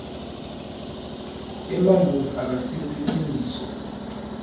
emamuvi akasilo liciniso